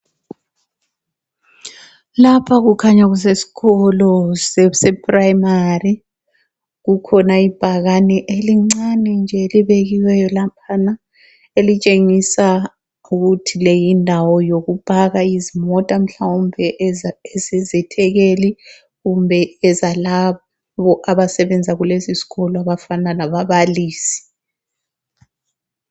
Lapha kukhanya kusesikolo sePrimary. Kukhona ibhakane elincane nje elibekiweyo laphana elitshengisa ukuthi le yindawo yokupaka izimota, mhlawumbe ezezethekeli kumbe ezalabo abasebenza kulesisikolo abafana lababalisi.